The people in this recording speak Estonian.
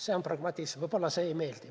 See on pragmatism, võib-olla see ei meeldi.